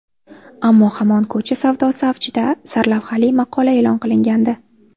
Ammo hamon ko‘cha savdosi avjida” sarlavhali maqola e’lon qilingandi .